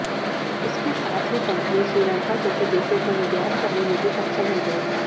इसके साथ ही कंपनी श्रीलंका जैसे देशों को निर्यात करने में भी सक्षम हो जाएगी